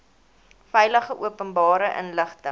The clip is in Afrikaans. veilig openbare inligting